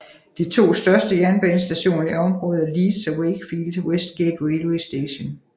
De to største jernbanestationer i området er Leeds og Wakefield Westgate Railway Station